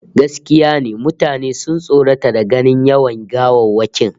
Gaskiya ne, mutane sun tsorata da ganin yawan gawawwakin